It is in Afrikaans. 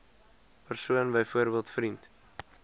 persoon byvoorbeeld vriend